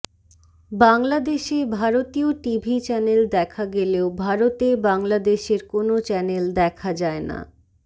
বাংলাদেশে ভারতীয় TV channel দেখা গেলেও ভারতে বাংলাদেশের কোন চ্যানেল দেখা যায় না